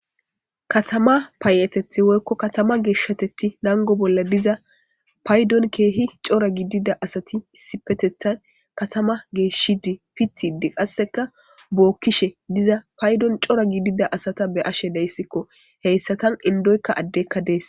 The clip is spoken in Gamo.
katama paayetethi woykko katama geeshshateti nango bolla diza paydon keehi cora gidida asati isipetethan katama geeshshi dii pitide qasseka bookkishe diza paydon cora gidida asata be ashe deyssikko heyssatan indoykka addekka dees